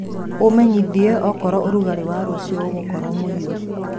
umenyĩthĩe okorwo ũrũgarĩ wa rũcĩũ ugakorwo muhiu